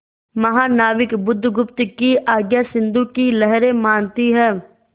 महानाविक बुधगुप्त की आज्ञा सिंधु की लहरें मानती हैं